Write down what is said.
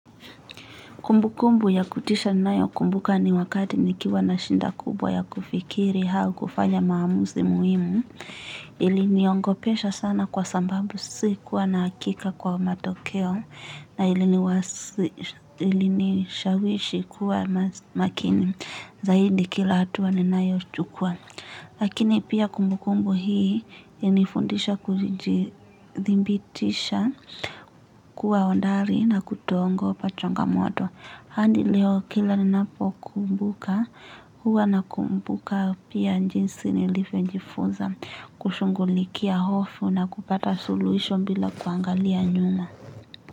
Kumbu kumbu ya kutisha ninayo kumbuka ni wakati nikiwa na shinda kubwa ya kufikiri hau kufanya maamuzi muhimu. Iliniongopesha sana kwa sambabu si kuwa naakika kwa matokeo na ilini shawishi kuwa makini zaidi kila hatua ninayo chukuwa. Lakini pia kumbu kumbu hii inifundisha kujibitisha kuwa ondari na kutoongopa chongamoto. Andi leo kila ninapo kumbuka huwa na kumbuka pia njinsi nilifyo jifunza kushungulikia hofu na kupata soluhisho bila kuangalia nyuma.